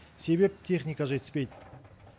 себебі техника жетіспейді